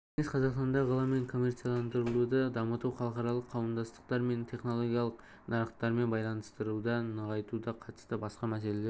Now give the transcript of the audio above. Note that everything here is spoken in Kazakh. кеңес қазақстандағы ғылым мен коммерцияландыруды дамыту халықаралық қауымдастықтар және технологиялық нарықтармен байланыстарды нығайтуға қатысты басқа мәселелер